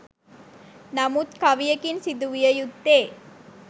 නමුත් කවියකින් සිදු විය යුත්තේ